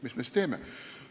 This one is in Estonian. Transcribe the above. Mis me siis teeme?